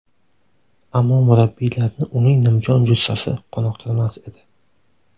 Ammo murabbiylarni uning nimjon jussasi qoniqtirmas edi.